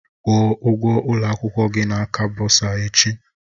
Kwụọ ụgwọ ụlọ akwụkwọ gị na aka bọsa echi!